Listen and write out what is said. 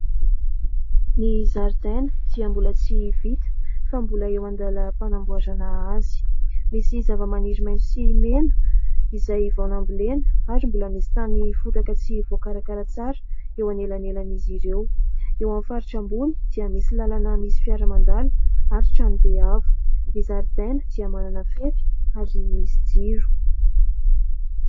Ny zaridaina dia mbola tsy vita fa mbola eo andala- panamboarana azy. Misy zava-maniry maintso sy mena izay vao nambolena ary mbola misy tany fotaka tsy voakarakara tsara eo an' elanelan' izy ireo. Eo amin' ny faritra ambony dia misy lalana misy fiara mandalo ary tranobe avo. Ny zaridaina dia manana fefy ary misy jiro.